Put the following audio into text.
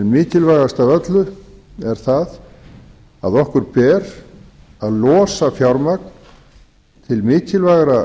mikilvægast af öllu er það að okkur ber að losa fjármagn til mikilvægra